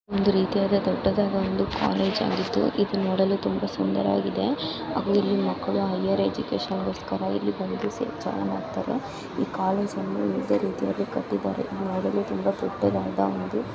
ಅತಿಯಾದ ದೊಡ್ಡದಾದ ಒಂದು ಕಾಲೇಜ್ ಆಗಿದ್ದು ಇದು ನೋಡಲು ತುಂಬಾ ಸುಂದರವಾಗಿದೆ. ಅದು ಇಲ್ಲಿ ಮಕ್ಕಳು ಹೈಯರ್ ಎಜುಕೇಶನ್ ಗೋಸ್ಕರ ಇಲ್ಲಿ ಬಂದು ಚೆನ್ನಾಗಿ ಮಾಡುತ್ತಾರೆ. ಈ ಕಾಲೇಜ್ ಅಲ್ಲಿ ವಿವಿಧ ರೀತಿಯಾಗಿ ಕಟ್ಟಿದ್ದಾರೆ .ನೋಡಲು ತುಂಬಾ ದೊಡ್ಡದಾದ ಒಂದು--